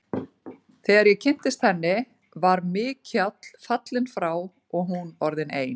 Þegar ég kynntist henni, var Mikjáll fallinn frá og hún orðin ein.